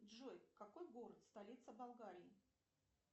джой какой город столица болгарии